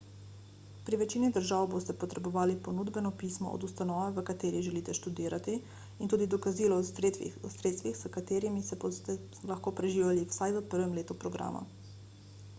pri večini držav boste potrebovali ponudbeno pismo od ustanove v kateri želite študirati in tudi dokazilo o sredstvih s katerimi se boste lahko preživljali vsaj v prvem letu programa